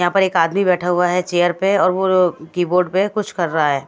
यहां पर एक आदमी बैठा हुआ है चेयर पे और वो कीबोर्ड पे कुछ कर रहा है।